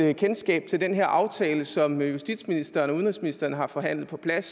et kendskab til den her aftale som justitsministeren og udenrigsministeren har forhandlet på plads